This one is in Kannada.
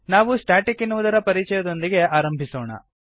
ನಾವು ಸ್ಟಾಟಿಕ್ ಎನ್ನುವುದರ ಪರಿಚಯದೊಂದಿಗೆ ಆರಂಭಿಸೋಣ